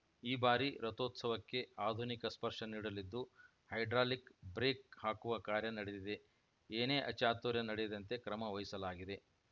ಈ ಬಾರಿ ರಥೋತ್ಸವಕ್ಕೆ ಆಧುನಿಕ ಸ್ಪರ್ಶ ನೀಡಲಿದ್ದು ಹೈಡ್ರಾಲಿಕ್‌ ಬ್ರೇಕ್‌ ಹಾಕುವ ಕಾರ್ಯ ನಡೆದಿದೆ ಏನೇ ಅಚಾತುರ್ಯ ನಡೆಯದಂತೆ ಕ್ರಮ ವಹಿಸಲಾಗಿದೆ